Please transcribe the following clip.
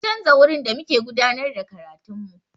Sun canza wurin da muke gudanar da karatun mu.